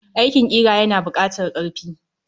Aikin ƙira yana bukatar karfi.